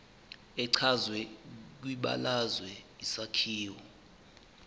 echazwe kwibalazwe isakhiwo